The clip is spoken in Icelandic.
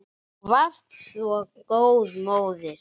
Þú varst svo góð móðir.